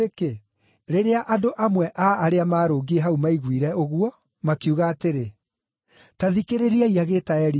Rĩrĩa andũ amwe a arĩa marũngiĩ hau maiguire ũguo, makiuga atĩrĩ, “Ta thikĩrĩriai agĩĩta Elija.”